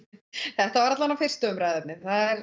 þetta var allavega fyrsta umræðuefnið